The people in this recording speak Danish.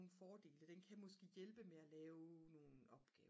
fordele den kan måske hjælpe med at lave nogle opgaver